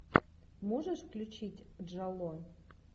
можешь включить джало